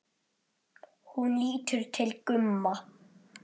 Hún lítur til Gumma.